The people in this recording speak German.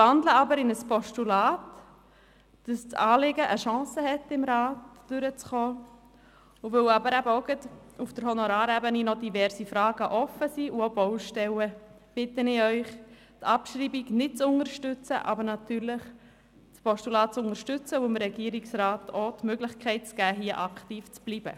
Ich wandle aber in ein Postulat, damit das Anliegen eine Chance hat, im Rat durchzukommen, und weil eben gerade auch auf der Honorarebene gewisse Fragen und auch Baustellen offen sind, bitte ich Sie, die Abschreibung nicht zu unterstützen, aber natürlich das Postulat, um dem Regierungsrat die Möglichkeit zu geben, hier aktiv zu bleiben.